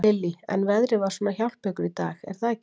Lillý: En veðrið var svona að hjálpa ykkur í dag, er það ekki?